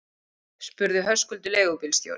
spurði Höskuldur leigubílstjóri.